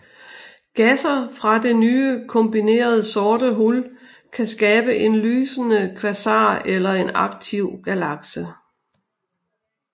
Gasser fra det nye kombinerede sorte hul kan skabe en lysende kvasar eller en aktiv galakse